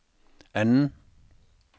anden